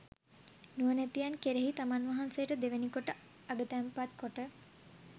නුවණැතියන් කෙරෙහි තමන් වහන්සේට දෙවැනිකොට අගතැන්පත් කොට